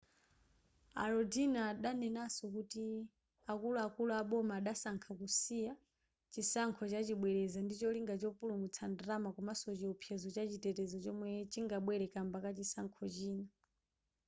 a lodin adanenanso kuti akuluakulu a boma adasankha kusiya chisankho chachibwereza ndicholinga chopulumutsa ndalama komaso chiopsezo chachitetezo chomwe chingabwere kamba ka chisankho china